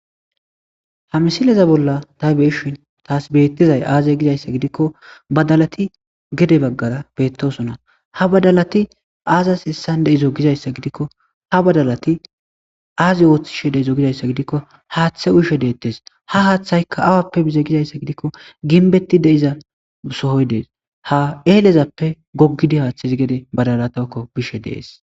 Ha missileza bolla ta be"ishshin bettizay aze gizayissa gidikko badalatti gede bagara betossonna ha badalatti azas hesan dizo gizayissa gidikko haththe uyishshe detes ha hayhthayikka awappe yize gizayissa gidikko ginbet de"iza sohoyi des ha elezappe gogidi